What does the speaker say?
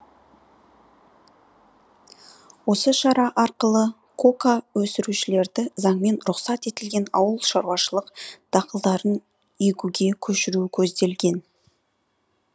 осы шара арқылы кока өсірушілерді заңмен рұқсат етілген ауылшаруашылық дақылдарын егуге көшіру көзделген